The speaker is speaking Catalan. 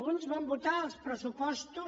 uns van votar els pressupostos